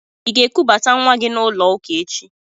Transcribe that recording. Ị ga-ekubata nwa gị n'ụlọ ụka echi?